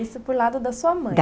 Isso por lado da sua mãe.